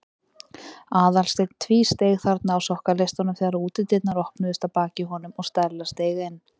Aðalsteinn tvísteig þarna á sokkaleistunum þegar útidyrnar opnuðust að baki honum og Stella steig inn.